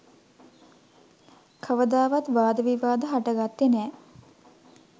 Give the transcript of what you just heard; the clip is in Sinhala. කවදාවත් වාද විවාද හටගත්තේ නෑ.